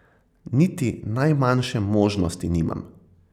Niti najmanjše možnosti nimam.